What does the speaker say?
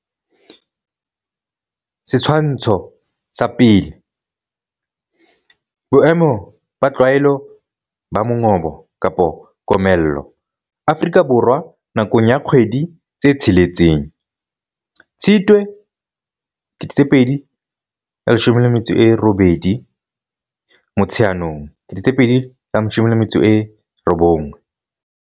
Setshwantsho sa 1, Boemo ba tlwaelo ba mongobo-komello Afrika Borwa nakong ya kgwedi tse tsheletseng, Tshitwe 2018 Motsheanong 2019.